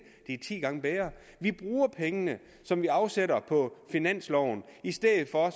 er ti gange bedre vi bruger pengene som vi afsætter på finansloven i stedet for at